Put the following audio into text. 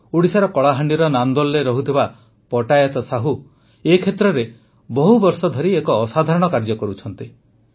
ଓଡ଼ିଶାର କଳାହାଣ୍ଡିର ନାନ୍ଦୋଲରେ ରହୁଥିବା ପଟାୟତ ସାହୁ ଏ କ୍ଷେତ୍ରରେ ବହୁବର୍ଷ ଧରି ଏକ ଅସାଧାରଣ କାର୍ଯ୍ୟ କରୁଛନ୍ତି